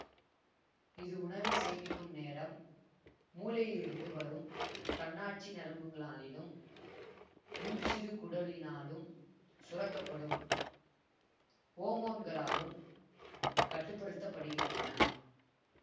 இது உணவை சேமிக்கும் நேரம் மூளையிலிருந்து வரும் தன்னாட்சி நரம்புங்களினாலும் முன்சிறுகுடலினாலும் சுரக்க படும் ஓமோன்களாலும் கட்டு படுத்த படுகின்றன